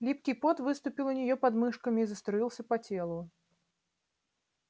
липкий пот выступил у неё под мышками и заструился по телу